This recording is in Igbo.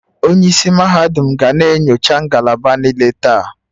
onye isi mahadum ga na-enyocha ngalaba niile taa